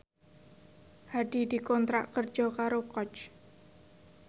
Hadi dikontrak kerja karo Coach